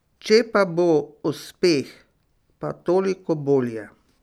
Če pa bo uspeh, pa toliko bolje.